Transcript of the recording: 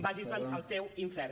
vagi se’n al seu infern